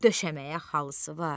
Döşəməyə xalısı var.